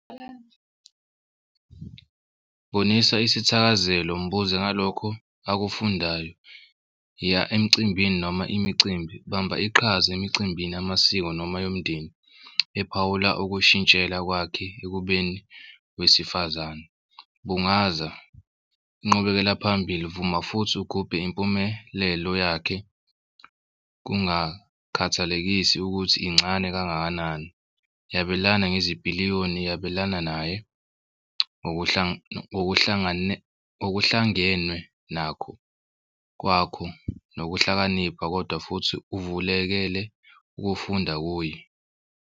Boniswa isithakazelo mbuze ngalokho akufundayo iya emcimbini noma imicimbi bamba iqhaza emicimbini yamasiko noma yomndeni ephawula ukushintshela kwakhe ekubeni wesifazane. Bungaza inqubekela phambili vuma futhi ugubhe impumelelo yakhe kungakhathalekisi ukuthi incane kangakanani. Yabelana ngezipiliyoni yabelana naye ngokuhlangenwe nakho kwakho nokuhlakanipha kodwa futhi uvulekele ukufunda kuye.